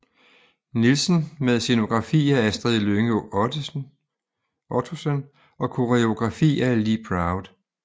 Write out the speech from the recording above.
Nielsen med scenografi af Astrid Lynge Ottosen og koreografi af Lee Proud